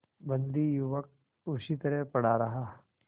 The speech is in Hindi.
बंदी युवक उसी तरह पड़ा रहा